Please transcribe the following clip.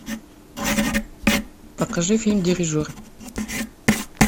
покажи фильм дирижер